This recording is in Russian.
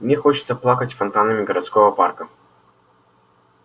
мне хочется плакать фонтанами городского парка